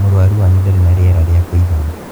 Mũrũarũ wanyu ndarĩ na rĩera rĩa kwĩigana.